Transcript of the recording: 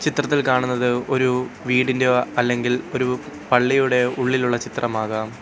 ചിത്രത്തിൽ കാണുന്നത് ഒരു വീടിൻ്റെയോ അല്ലെങ്കിൽ ഒരു പള്ളിയുടെയോ ഉള്ളിലുള്ള ചിത്രമാകാം.